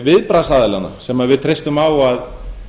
viðbragðsaðila sem við treystum á að